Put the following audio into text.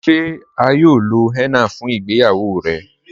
Ṣe à yóò lọ henna fun ìgbéyàwó rẹ?